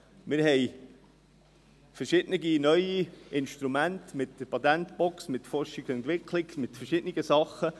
Wir haben verschiedene neue Instrumente mit der Patentbox, mit Forschung und Entwicklung, mit verschiedenen Dingen.